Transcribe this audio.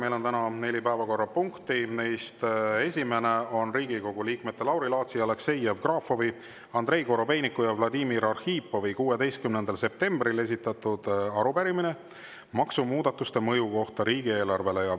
Meil on täna neli päevakorrapunkti, neist esimene on Riigikogu liikmete Lauri Laatsi, Aleksei Jevgrafovi, Andrei Korobeiniku ja Vladimir Arhipovi 16. septembril esitatud arupärimine maksumuudatuste mõju kohta riigieelarvele.